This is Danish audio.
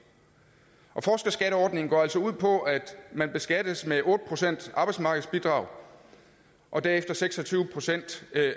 forskerskatteordningen går altså ud på at man beskattes med otte procent arbejdsmarkedsbidrag og derefter seks og tyve procent